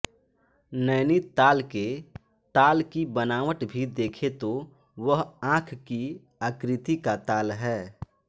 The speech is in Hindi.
नैनीताल के ताल की बनावट भी देखें तो वह आँख की आकृति का ताल है